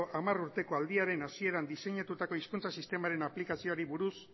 hamar urteko aldiaren hasieran diseinatutako hizkuntza sistemaren aplikazioari buruz